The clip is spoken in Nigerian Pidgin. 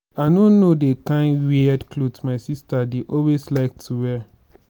i no know the kin weird cloth my sister dey always like to wear